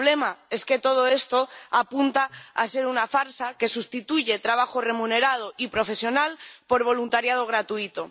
el problema es que todo esto parece más bien una farsa que sustituye trabajo remunerado y profesional por voluntariado gratuito.